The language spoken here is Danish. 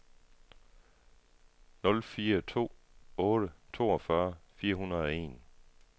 nul fire to otte toogfyrre fire hundrede og en